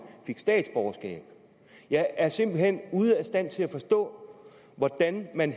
fik statsborgerskab jeg er simpelt hen ude af stand til at forstå hvordan man